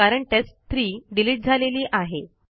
कारण test three delete झालेली आहे